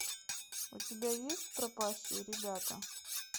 у тебя есть пропащие ребята